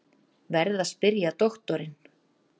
Verð að spyrja doktorinn.